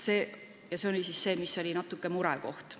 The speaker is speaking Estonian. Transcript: See oli siis natuke murekoht.